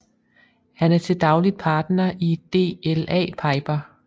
Han er til dagligt partner i DLA Piper